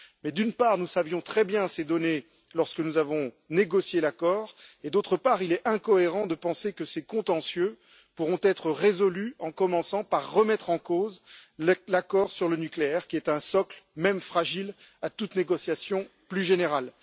Mais d'une part, nous connaissions très bien ces données lorsque nous avons négocié l'accord et d'autre part, il est incohérent de penser que ces contentieux pourront être résolus en commençant par remettre en cause l'accord sur le nucléaire, qui est un socle, même fragile, à toute négociation plus générale.